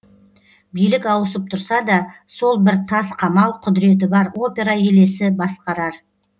билік ауысып тұрса да сол бір тас қамал құдіреті бар опера елесі басқарар